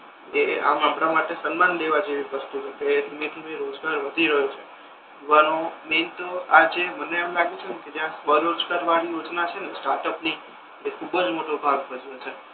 એ આમ આપડા માટે સમ્માન દેવા જેવી વસ્તુ છે કે ધીમે ધીમે રોજગાર વધી રહ્યો છે વધવાનો મેઇન તો આ જે માને એમ લાગે છે ને કે બરોજગર વળી યોજના છે ને સ્ટાર્ટઅપ ની એ ખૂબ જ મોટો ભાગ ભજવે છે.